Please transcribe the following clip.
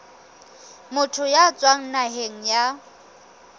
motho ya tswang naheng ya